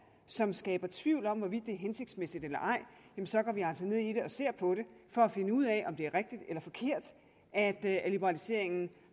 som skaber tvivl om hvorvidt det er hensigtsmæssigt eller ej så går vi altså ned i det og ser på det for at finde ud af om det er rigtigt eller forkert at liberaliseringen